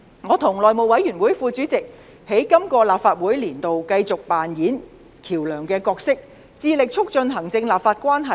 我和內務委員會副主席在今個立法年度繼續扮演橋樑的角色，致力促進行政立法關係。